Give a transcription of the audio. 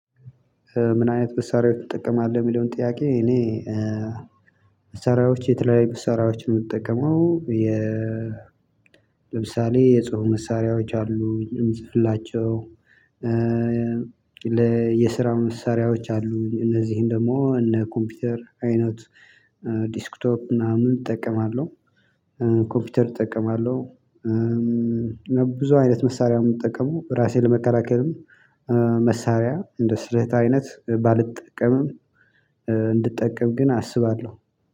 ምን አይነት መሳሪያዎች ትጠቀማለህ እሚለውን ጥያቄ? እኔ መሳሪያዎች የተለያዩ መሳሪያዎች ነው የምጠቀመው። የ ለምሳሌ የጽሁፍ መሳሪያዎች አሉ እምጽፍላቸው። ለየስራ መሳሪያዎች አሉ እነዚህን ደግሞ እነ ኮምፒውተር አይነት ዲስክቶፕ ምናምን እጠቀማለሁ። ኮምፒውተር እጠቀማለሁ። ብዙ አይነት መሳሪያ ነው የምጠቀመው። ራሴን ለመከላከልም መሳሪያ እንደ ስራው አይነት ባልጠቀምም። እንድጠቀም ግን አስባለሁ